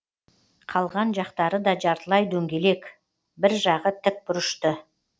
қалған жақтары да жартылай дөңгелек и бір жағы тікбұрышты